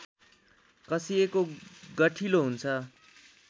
कसिएको गठिलो हुन्छ